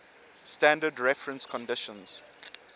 standard reference conditions